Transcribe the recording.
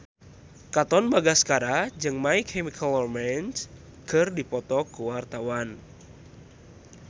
Katon Bagaskara jeung My Chemical Romance keur dipoto ku wartawan